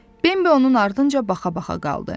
Bembi onun ardınca baxa-baxa qaldı.